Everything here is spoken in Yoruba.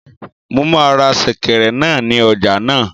Mo máa ra sèkẹ̀rẹ̀ náà ní ọjà náà